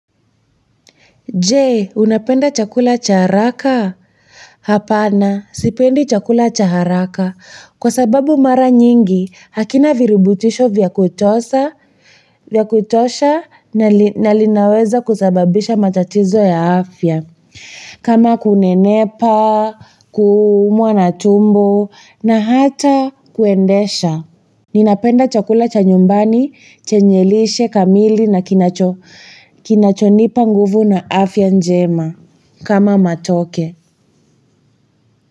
Je, unapenda chakula cha haraka? Hapana, sipendi chakula cha haraka. Kwa sababu mara nyingi, hakina viributisho vya kutosha na linaweza kusababisha matatizo ya afya. Kama kunenepa, kuumwa na tumbo, na hata kuendesha. Ninapenda chakula cha nyumbani chenye lishe kamili na kinachonipa nguvu na afya njema kama matoke.